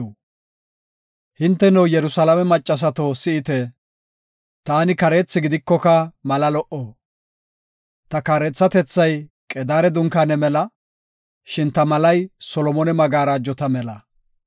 Hinteno, Yerusalaame maccasato si7ite; taani kareethi gidikoka mala lo77o. Ta kareethatethay Qedaare dunkaane mela; shin ta malay Solomone magarajota mela.